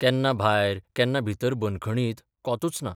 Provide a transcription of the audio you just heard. केन्ना भायर केन्ना भितर बंदखणत कोतूच ना.